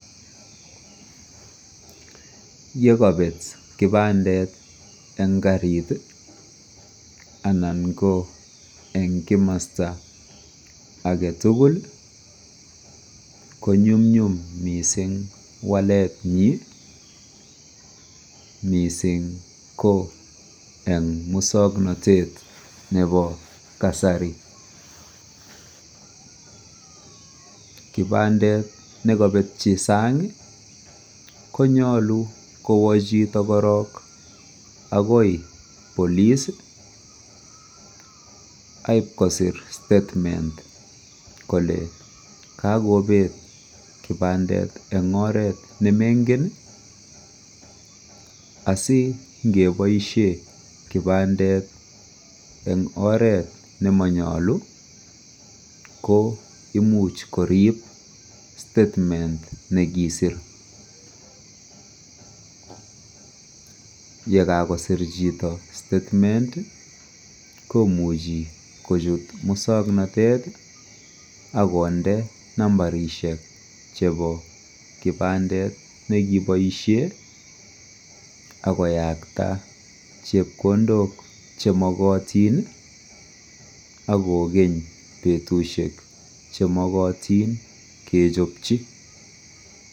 yegobeet kibandeet en kariit iih, anan ko en kimosta agetugul konyumnyum mising waleet nyiin mising ko en mosoknotet nebo kasari, kipandeet negobetyi saang iih konyou kowo chito korook agoi cs} police aib kosiir statement kole kogobeet kipandet en oreet nemengen asingeboishen kipandet en oreet nemonyolu ko imuch koriib statement negisiir, yegagosiir chito statement komuchi kochuut musoknotet ak konde nambarishek chebo kipandeet negiboishen ak koyaakta chepkondok chemogotin ak kogeeny betusheek chemogotin kechopchi.